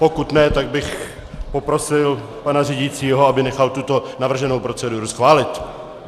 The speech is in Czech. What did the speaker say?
Pokud ne, tak bych poprosil pana řídícího, aby nechal tuto navrženou proceduru schválit.